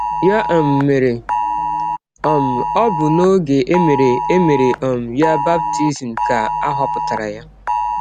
Ya um mere, um ọ bụ n’ọge e mere e mere um ya baptism ka a họpụtara ya.